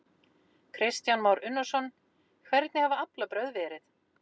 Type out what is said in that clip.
Kristján Már Unnarsson: Hvernig hafa aflabrögð verið?